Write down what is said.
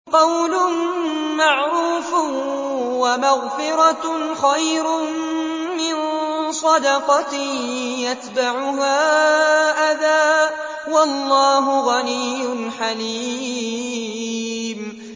۞ قَوْلٌ مَّعْرُوفٌ وَمَغْفِرَةٌ خَيْرٌ مِّن صَدَقَةٍ يَتْبَعُهَا أَذًى ۗ وَاللَّهُ غَنِيٌّ حَلِيمٌ